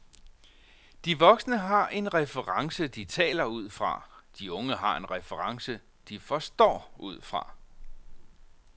De voksnes har en reference de taler ud fra, de unge har en reference de forstår ud fra.